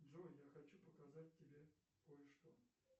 джой я хочу показать тебе кое что